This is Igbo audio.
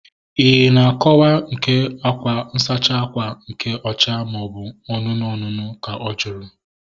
Ị na akọwa nke akwa nsachi ákwà nke ọcha maobu anụnụ anụnụ? Ka ọ jụrụ